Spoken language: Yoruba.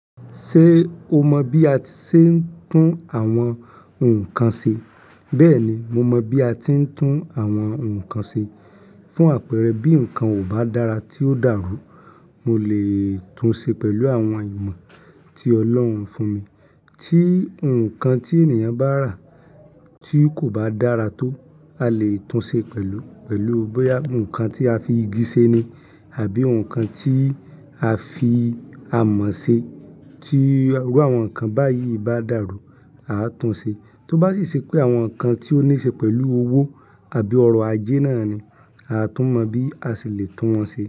Ṣé o mọ bí a ti ṣe ń tún àwọn nǹkan ṣe? Bẹ́ẹ̀ni, mo mọ bí a ti ń tún àwọn nǹkan ṣe. Fún àpẹẹrẹ bí nǹkan ò bá dára tí ó dàrú, mo lè tún ṣe pẹ̀lú àwọn ìmọ̀ tí Ọlọ́run fún mi. Tí nǹkan tí ènìyàn bá rà tí kò bá dára tó, a lè tún ṣe pẹ̀lú, pẹ̀lú bóyá nǹkan tí a fi igi ṣe ni àbí nǹkan tí a fi amọ̀ ṣe, tí irú àwọn nǹkan báyìí bá dàrú, a á tún ṣe. Tó bá sì ṣẹ́ pé àwọn nǹkan tí ó ní ṣe pẹ̀lú owó àbí ọrọ̀ ajé náà ni, a á tún mọ bí a ṣì lè tún wọn ṣe.